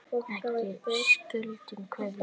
Ekki skuldlaus keðja